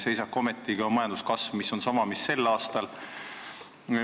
Seisak ometigi on, kui majanduskasv on sama, mis sel aastal.